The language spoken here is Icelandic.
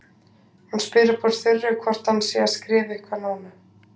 Hún spyr upp úr þurru hvort hann sé að skrifa eitthvað núna.